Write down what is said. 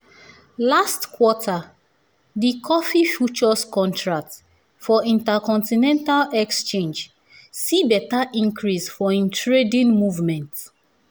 last quarter di coffee futures contract for intercontinental exchange see beta increase for im trading movement